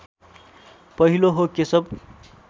पहिलो हो केशव